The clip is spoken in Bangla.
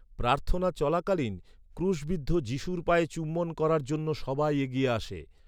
প্রার্থনা চলাকালীন, ক্রুশবিদ্ধ যীশুর পায়ে চুম্বন করার জন্য সবাই এগিয়ে আসে।